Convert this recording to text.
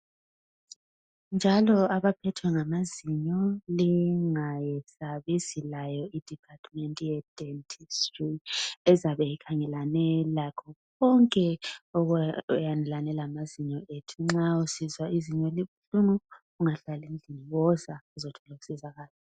Njalo abaphethwe ngamazinyo lingayesabi silayo i-department ye dentistry ezabe ikhangelane lakho konke okukhangelane lamazinyo ethu. Nxa usizwa izinyo libuhlungu ungahlali endlini woza uzothola ukusizakala.